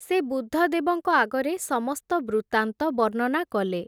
ସେ ବୁଦ୍ଧଦେବଙ୍କ ଆଗରେ ସମସ୍ତ ବୃତାନ୍ତ ବର୍ଣ୍ଣନା କଲେ ।